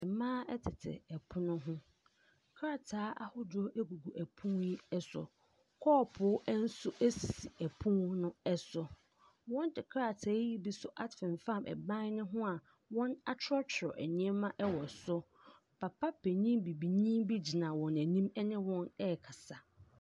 Mmaa tete ɛpono ho. Krataa ahodoɔ egugu ɛpono yi ɛso. Kɔɔpoo nso sisi ɛpono no so. Wɔde krataa yi bi nso afenfam ban no ho a wɔakyerɛw biribi wɔ so. Papa panin Bibini bi gyina wɔn anim ne wɔn rekasa.